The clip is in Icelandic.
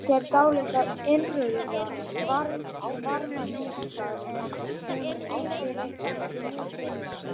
Þær gefa einnig frá sér dálitla innrauða varmageislun, en hún er yfirleitt ekki mikil.